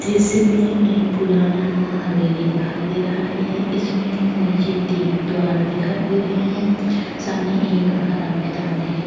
दृश्य में एक पुराना हवेली दिखाई दे रहा है। इसमें नीचे तीन द्वार दिखाई दे रहे हैं। सामने एक हरा मैदान है।